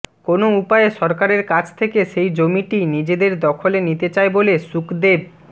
কোনো উপায়ে সরকারের কাছ থেকে সেই জমিটি নিজেদের দখলে নিতে চায় বলে শুকদেব